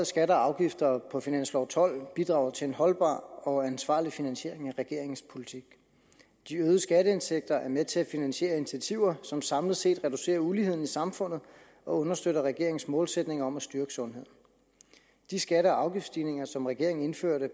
skatter og afgifter på finansloven tolv bidrager til en holdbar og ansvarlig finansiering af regeringens politik de øgede skatteindtægter er med til at finansiere initiativer som samlet set reducerer uligheden i samfundet og understøtter regeringens målsætning om at styrke sundheden de skatte og afgiftsstigninger som regeringen indførte